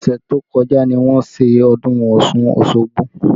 Ọsẹ tó kọjá ni wọ́n ṣe ọdún Ọ̀ṣun Osogbo